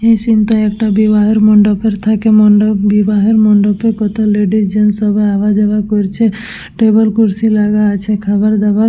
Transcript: এই সিন -টায় একটা বিবাহর মণ্ডপের থেকে মণ্ডপ বিবাহের মণ্ডপের কত ল্যাডিস জেন্স সবাই আওয়া যাওয়া করছে টেবিল কুরসী লাগা আছে খাবারদাবার--